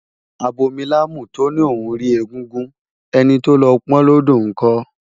Abomilámù tó lóun rí egúngún, ẹni tó lọ pọn ọ́n lódò ńkọ́?